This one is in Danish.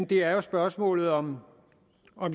det er jo spørgsmålet om